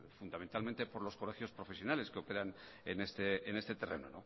fundamentalmente por los colegios profesionales que operan en este terreno